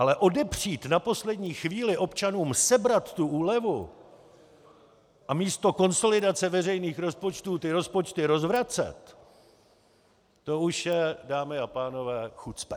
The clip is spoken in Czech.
Ale odepřít na poslední chvíli občanům, sebrat tu úlevu a místo konsolidace veřejných rozpočtů ty rozpočty rozvracet, to už je, dámy a pánové, chucpe.